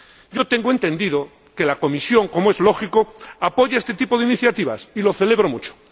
Yo tengo entendido que la Comisión, como es lógico, apoya este tipo de iniciativas y lo celebro mucho.